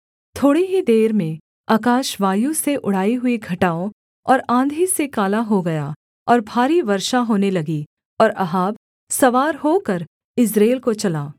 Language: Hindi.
थोड़ी ही देर में आकाश वायु से उड़ाई हुई घटाओं और आँधी से काला हो गया और भारी वर्षा होने लगी और अहाब सवार होकर यिज्रेल को चला